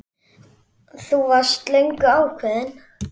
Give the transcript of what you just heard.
Elín: Þú varst löngu ákveðin?